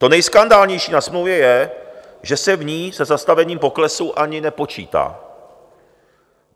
To nejskandálnější na smlouvě je, že se v ní se zastavením poklesu ani nepočítá.